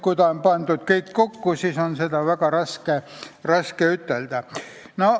Kui on pandud kõik kokku, siis on selliseid asju väga raske eristada.